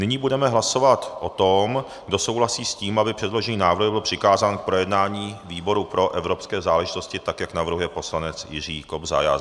Nyní budeme hlasovat o tom, kdo souhlasí s tím, aby předložený návrh byl přikázán k projednání výboru pro evropské záležitosti, tak jak navrhuje poslanec Jiří Kobza.